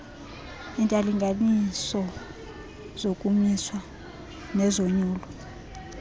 iintalnganiso zokumiswa nezonyulo